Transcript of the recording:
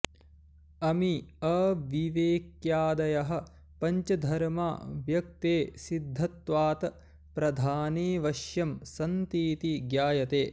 अमी अविवेक्यादयः पञ्चधर्मा व्यक्ते सिद्धत्वात् प्रधानेऽवश्यं सन्तीति ज्ञायते